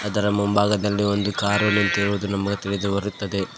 ಅದರ ಮುಂಭಾಗದಲ್ಲಿ ಒಂದು ಕಾರು ನಿಂತಿರುವುದು ನಮಗೆ ತಿಳಿದು ಬರುತ್ತದೆ.